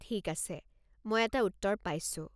ঠিক আছে, মই এটা উত্তৰ পাইছোঁ।